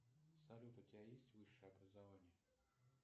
салют у тебя есть высшее образование